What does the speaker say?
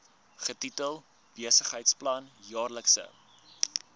getitel besigheidsplan jaarlikse